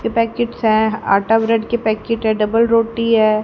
Packets है आटा bread के पैकेट है डबल रोटी है।